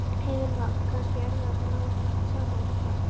Heimir Már: Kannski erfiðast að ná saman þar?